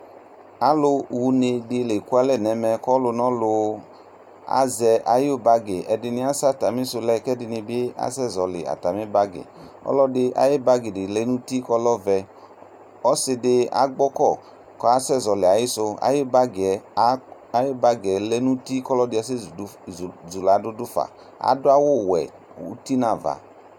allu dini azɛ atami bag ka asɛ wlinɛ nʊ uti ɔsi di agbɔko ku ayu bag lɛ nʊ uti kalu ɛdini ke yadu fa adu awu wuɛ